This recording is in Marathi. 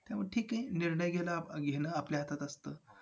अ ISKCON Temple असे म्हणजे आहेत ते मुंबईच्या जे आहेत आसपास चे बरेच केले .